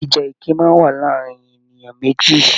Ìjà ẹkẹ máa n wà láàrín ènìyàn méjì.